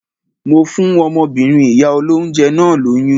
Mo fún ọmọbìnrin ìyá olóńjẹ náà lóyún.